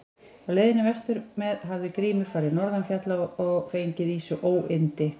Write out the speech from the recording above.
Á leiðinni vestur með hafði Grímur farið norðan fjalla og fengið í sig óyndi.